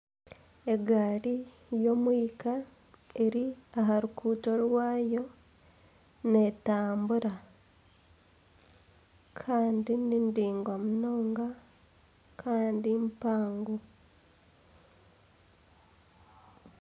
Egaari y'omwika eri aha rukuuto rwaayo netambura kandi ni ningwa munonga kandi mpango.